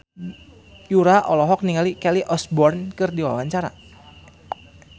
Yura olohok ningali Kelly Osbourne keur diwawancara